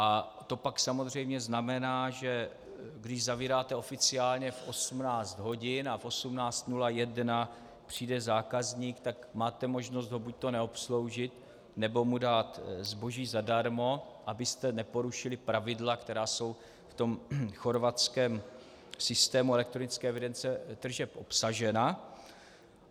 A to pak samozřejmě znamená, že když zavíráte oficiálně v 18 hodin a v 18.01 přijde zákazník, tak máte možnost ho buďto neobsloužit, nebo mu dát zboží zadarmo, abyste neporušili pravidla, která jsou v tom chorvatském systému elektronické evidence tržeb obsažena.